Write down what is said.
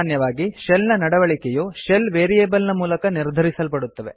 ಸಾಮಾನ್ಯವಾಗಿ ಶೆಲ್ ನ ನಡವಳಿಕೆಯು ಶೆಲ್ ವೇರಿಯೇಬಲ್ ನ ಮೂಲಕ ನಿರ್ಧರಿಸಲ್ಪಡುತ್ತವೆ